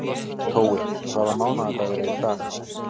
Tói, hvaða mánaðardagur er í dag?